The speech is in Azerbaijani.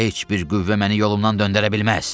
Heç bir qüvvə məni yolumdan döndərə bilməz.